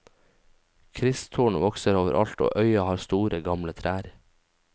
Kristtorn vokser overalt og øya har store, gamle trær.